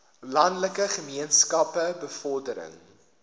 landelike gemeenskappe bevordering